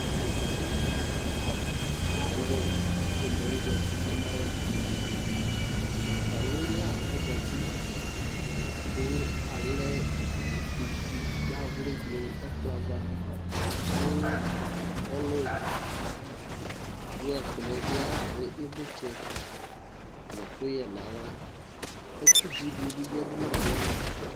idikadi ayɛ pomɛ zɛti ka ma yɛ ɛku atami lă ɛzɛti laku alɛ ivi dawlui ni nɛ ɛkplɔɛ ava ku ɔlu duɛ ɛkplɔɛ bi avi ivlitsɛ nu ɛkuyɛ na axlă ɛku dzi di bi yadu nɛ kplɔɛ ava